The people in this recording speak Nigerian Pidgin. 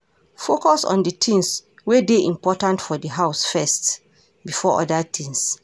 Focus on di things wey dey important for di house first before oda things